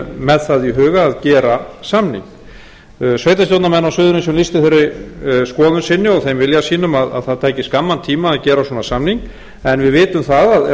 með það í huga að gera samning sveitarstjórnarmenn á suðurnesjum lýstu þeirri skoðun sinni og þeim vilja sínum að það tæki skamman tíma að gera svona samning en við vitum það að ef samningurinn á